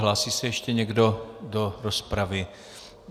Hlásí se ještě někdo do rozpravy?